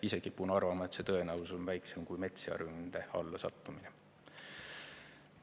Ise kipun arvama, et see tõenäosus on väiksem kui metssea ründe alla sattumine.